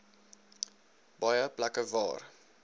baie plekke waar